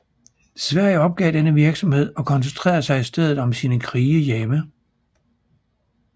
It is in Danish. Sverige opgav denne virksomhed og koncentrerede sig i stedet om sine krige hjemme